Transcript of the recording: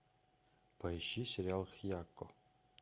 поищи сериал хьякко